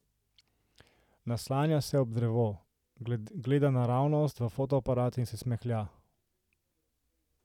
Naslanja se ob drevo, gleda naravnost v fotoaparat in se smehlja.